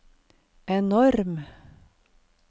enorm